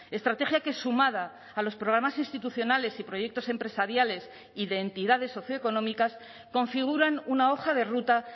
estrategia que sumada a los programas institucionales y proyectos empresariales y de entidades socioeconómicas configuran una hoja de ruta